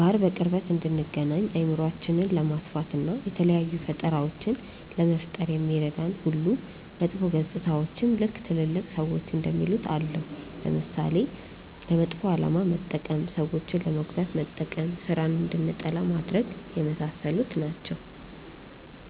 ጋር በቅርበት እንድንገናኝ፣ አእምሯችንን ለማስፋት፣ እና የተለያዩ ፈጠራዎችን ለመፍጠር እንደሚረዳን ሁሉ መጥፎ ገፅታዎችም ልክ ትልልቅ ሰዎች እንደሚሉት አለው። ለምሳሌ፦ ለመጥፎ አላማ መጠቀም፣ ሰዎችን ለመጉዳት መጠቀም፣ ስራን እንድንጠላ ማድረግ፣ የመሳሰሉት ናቸው።